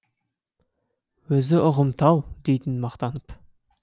өзі ұғымтал дейтін мақтанып